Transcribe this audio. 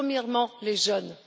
Premièrement, les jeunes.